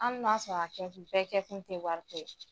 Hali n'a sɔrɔ a kɛkun bɛɛ kɛkun tɛ wariko ye.